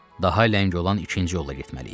Daha ləng olan ikinci yolla getməliyik.